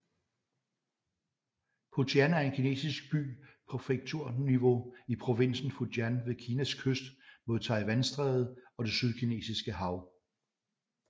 Putian er en kinesisk by på præfekturniveau i provinsen Fujian ved Kinas kyst mod Taiwanstrædet og det Sydkinesiske hav